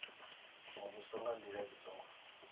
muvhuso nga ndila i songo